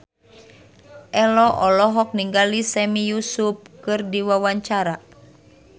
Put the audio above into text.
Ello olohok ningali Sami Yusuf keur diwawancara